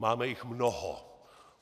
Máme jich mnoho.